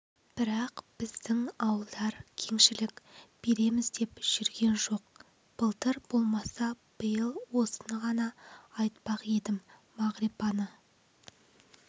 бірақ біздің ауылдар кеңшілік береміз деп жүрген жоқ былтыр болмаса биыл осыны ғана айтпақ едім мағрипаны